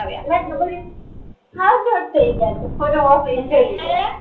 હાવ short થઇ ગયા છે ફોટો મોકલીશ